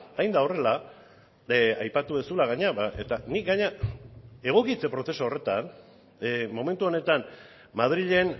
hain da horrela aipatu duzula gainera eta nik gainera egokitze prozesu horretan momentu honetan madrilen